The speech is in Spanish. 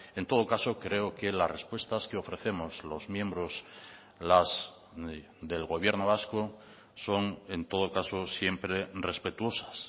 en todo caso creo que las respuestas que ofrecemos los miembros las del gobierno vasco son en todo caso siempre respetuosas